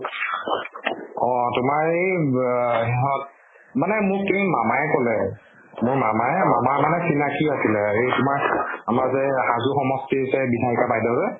অ তোমাৰ এই ব ধৰক মানে মোক কিন্তু মামাই কলে। মোৰ মামাৰ মামাৰ মানে চিনাকী আছিল এই তোমাৰ আমাৰ যে হাজু সমষ্টীৰ যে বিধায়ীকা বাইদেউ যে